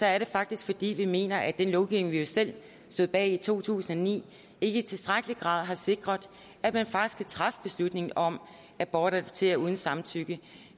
er det faktisk fordi vi mener at den lovgivning vi jo selv stod bag i to tusind og ni ikke i tilstrækkelig grad har sikret at man kan træffe beslutning om at bortadoptere uden samtykke